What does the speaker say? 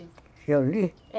Que eu li?